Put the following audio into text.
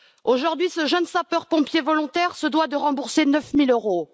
Aujourd'hui, ce jeune sapeur pompier volontaire doit rembourser 9000 euros.